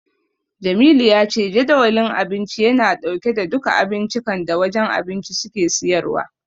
Jamilu ya ce Jadawalin Abinci yana dauke da duka abincikan da wajen abinci suke siyarwa.